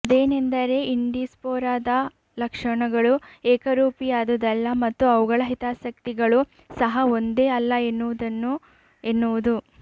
ಅದೇನೆಂದರೆ ಇಂಡಿಸ್ಪೊರಾದ ಲಕ್ಷಣಗಳು ಏಕರೂಪಿಯಾದುದಲ್ಲ ಮತ್ತು ಅವುಗಳ ಹಿತಾಸಕ್ತಿಗಳು ಸಹ ಒಂದೇ ಅಲ್ಲ ಎನ್ನುವುದನ್ನು ಎನ್ನುವುದು